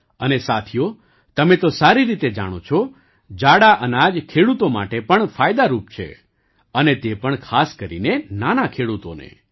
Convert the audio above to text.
અને સાથીઓ તમે તો સારી રીતે જાણો છો જાડા અનાજ ખેડૂતો માટે પણ ફાયદારૂપ છે અને તે પણ ખાસ કરીને નાના ખેડૂતોને